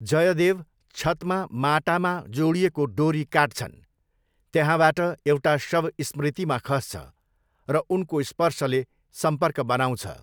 जयदेव छतमा माटामा जोडिएको डोरी काट्छन्, त्यहाँबाट एउटा शव स्मृतिमा खस्छ, र उनको स्पर्शले सम्पर्क बनाउँछ।